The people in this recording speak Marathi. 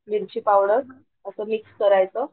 मिर्ची पावडर असं मिक्स करायचं